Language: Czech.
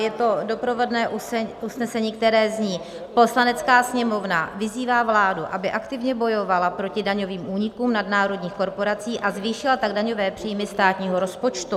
Je to doprovodné usnesení, které zní: "Poslanecká sněmovna vyzývá vládu, aby aktivně bojovala proti daňovým únikům nadnárodních korporací, a zvýšila tak daňové příjmy státního rozpočtu.